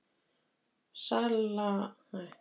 Sala afurða hefur gengið vel